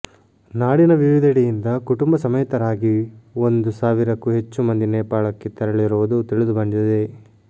ನಾಡಿನ ವಿವಿಧೆಡೆಯಿಂದ ಕುಟುಂಬ ಸಮೇತರಾಗಿ ಒಂದು ಸಾವಿರಕ್ಕೂ ಹೆಚ್ಚು ಮಂದಿ ನೇಪಾಳಕ್ಕೆ ತೆರಳಿರುವುದು ತಿಳಿದುಬಂದಿದೆ